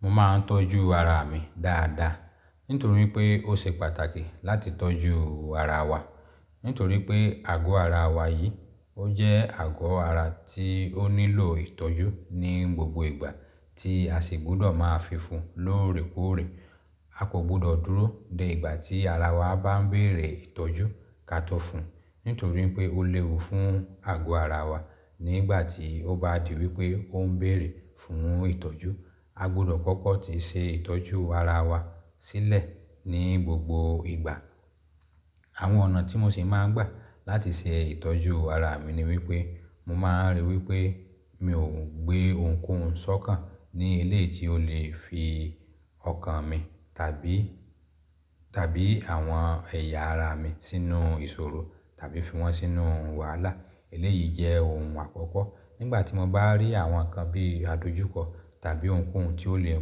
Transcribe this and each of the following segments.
Mo máa ń tọ́jú ara mi dáadáa, nítorí pé ó ṣe pàtàkì láti tọ́jú ara wa. Nítorí pé àgọ́ ara wa yìí, ó jẹ́ àgọ́ ara tí ó nílò ìtọ́jú ní gbogbo ìgbà tí a sì gbọ́dọ̀ máa fi fún un lóòrèkóòrè. A kò gbọ́dọ̀ dúró de ìgbà tí ara wa bá ń bèrè ìtọ́jú ká tó fún un, nítorí pé ó léwu fún àgọ́ ara wa nígbà tí ó bá di wípé ó ń bèrè fún ìtọ́jú. A gbọ́dọ̀ kọ́kọ́ ti ṣe ìtọ́jú ara wa sílẹ̀ ní gbogbo ìgbà. Àwọn ọ̀nà tí mo sì máa ń gbà láti ṣe ìtọ́jú ara mi ni wípé, mo máa ń rí wípé mi ò gbé ohunkóhun sọ́kàn ní ilé tí ó lè fi ọkàn mi tàbí, tàbí àwọn ẹ̀yà ara mi sínú ìṣòro tàbí fi wọ́n sínú wàhálà. Eléyìí jẹ́ ohun àkọ́kọ́. Nígbà tí mo bá rí àwọn nǹkan bí i àdojúkọ tàbí ohunkóhun tí ó lè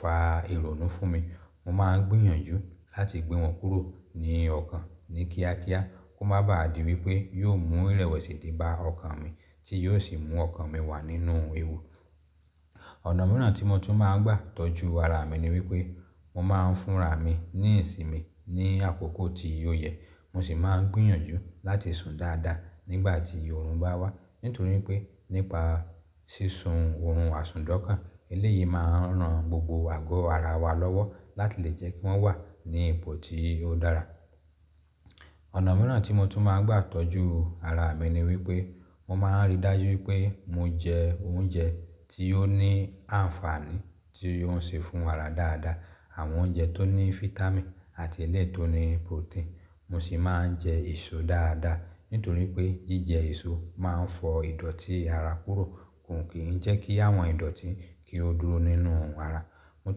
fa ìrònú fún mi, mo máa ń gbìyànjú láti gbé wọn kúrò ní ọkàn ní kíákíá kó má bà á di wípé yóò mú ìrẹ̀wẹ̀sì dé bá ọkàn mi tí yóò sì mú ọkàn mi wà nínú ewu. Ọ̀nà mìíràn tí mo tún máa ń gbà tọ́jú ara mi ni wípé, mo máa ń fúnra mi níìsì mi ní àkókò tí ó yẹ. Mo sì máa ń gbìyànjú láti sùn dáadáa nígbà tí òòrùn bá wá. Nítorí pé nípa sísun òòrùn, àsunndọ́kàn, eléyìí máa ń ran gbogbo àgọ́ ara wa lọ́wọ́ láti lè jẹ́ kí wọ́n wà ní ipò tí ó dára. Ọ̀nà mìíràn tí mo tún máa ń gbà tọ́jú ara mi ni wípé, mo máa ń rí dájú wípé mo jẹ oúnjẹ tí ó ní àǹfààní tí ó ń ṣe fún ara dáadáa. Àwọn oúnjẹ tó ní vítámìn àti e le tó ní protein. Mo sì máa ń jẹ èso dáadáa, nítorí pé jíjẹ èso máa ń fọ ìdọ̀tí ara kúrò, kò kí ń jẹ́ kí àwọn ìdọ̀tí kí ó dúró nínú ara. Mo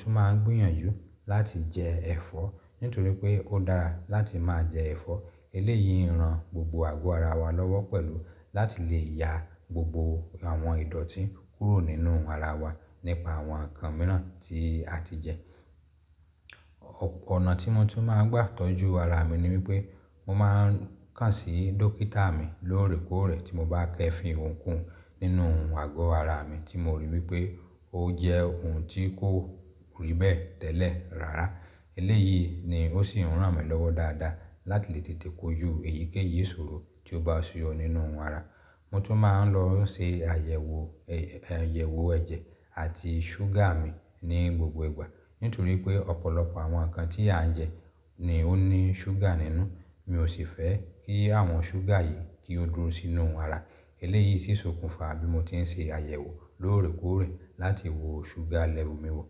tún máa ń gbìyànjú láti jẹ ẹfọ́, nítorí pé ó dára láti máa jẹ ẹfọ́. Eléyìí ń ran gbogbo àgọ́ ara wa lọ́wọ́ pẹ̀lú láti lè ya gbogbo àwọn ìdọ̀tí kúrò nínú ara wa nípa àwọn nǹkan mìíràn tí a ti jẹ. Ọ̀nà tí mo tún máa ń gbà tọ́jú ara mi ni wípé, mo máa ń kàn sí dókítà mi lóòrèkóòrè tí mo bá kẹ́ fi ohunkóhun nínú àgọ́ ara mi tí mo ríi wípé ó jẹ́ ohun tí kò rí bẹ́ẹ̀ tẹ́lẹ̀ rárá. Eléyìí ni ó sì ń ràn mí lọ́wọ́ dáadáa láti lè tètè kóju èyíkéyìí ìṣòro tí ó bá suyọ nínú ara. Mo tún máa ń lọ ṣe àyẹ̀wò, àyẹ̀wò ẹ̀jẹ̀ àti ṣúgà mi ní gbogbo ìgbà. Nítorí pé ọ̀pọ̀lọpọ̀ àwọn nǹkan tí à ń jẹ ni ó ní ṣúgà nínú, mi ò sì fẹ́ kí àwọn ṣúgà yìí kí ó dúró sínú ara. Eléyìí sì sokùnfa bí mo ti ń ṣe àyẹ̀wò lóòrèkóòrè láti wo ṣúgà lẹ́vel u mi wò.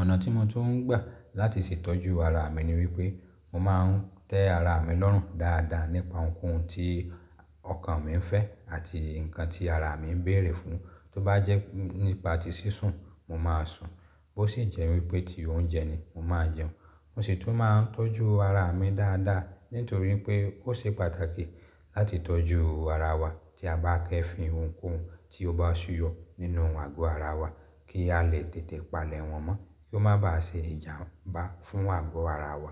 Ọ̀nà tí mo tún ń gbà láti ṣe ìtọ́jú ara mi ni wípé, mo máa ń tẹ́ ara mi lọ́rùn dáadáa nípa ohunkóhun tí ọkàn mi ń fẹ́ àti nǹkan tí ara mi ń bèrè fún un. Tó bá jẹ́ nípa tí sísun, mo máa sùn. Bó sì jẹ́ wípé ti oúnjẹ ni, mo máa jẹun. Mo sì tún máa ń tọ́jú ara mi dáadáa, nítorí pé ó ṣe pàtàkì láti tọ́jú ara wa tí a bá kẹ́ fi ohunkóhun tí ó bá suyọ nínú àgọ́ ara wa kí a lè tètè palẹ̀ wọn mọ́ kí ó má bà á ṣe ìjàmbá fún àgọ́ ara wa.